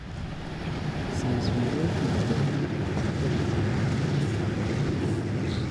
Since we no fit born, I dey suggest say we adopt pikin.